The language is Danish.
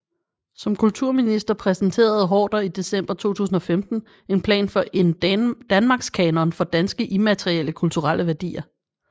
Som kulturminister præsenterede Haarder i december 2015 en plan for en Danmarkskanon for danske immaterielle kulturelle værdier